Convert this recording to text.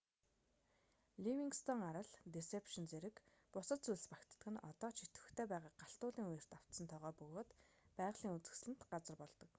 ливингстон арал дэсепшн зэрэг бусад зүйлс багтдаг нь одоо ч идэвхтэй байгаа галт уулын үерт автсан тогоо бөгөөд байгалийн үзэсгэлэнт газар болдог